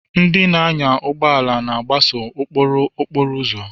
Ndị na-anya ụgbọ ala na-agbaso ụkpụrụ okporo ụzọ.